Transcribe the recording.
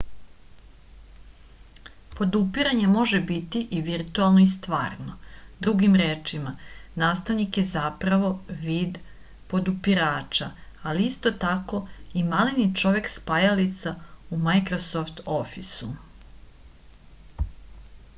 podupiranje može biti i virtuelno i stvarno drugim rečima nastavnik je zapravo vid podupirača ali isto tako i maleni čovek-spajalica u majkrosoft ofisu